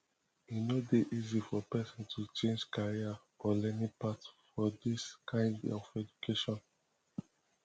e no dey easy for person to change career or learning path for this kind of education